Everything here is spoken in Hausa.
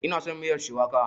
Ina son miyar shuwaka.